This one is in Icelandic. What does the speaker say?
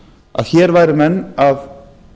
að hér væru menn að